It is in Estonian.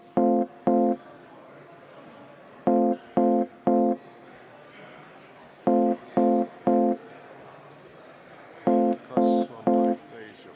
Istungi lõpp kell 13.01.